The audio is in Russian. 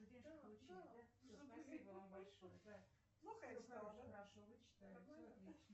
сбер где упоминается осетия